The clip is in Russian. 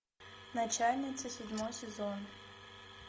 начальница седьмой сезон